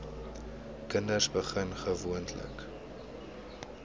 kinders begin gewoonlik